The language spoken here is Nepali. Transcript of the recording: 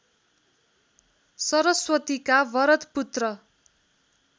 सरस्वतीका वरद पुत्र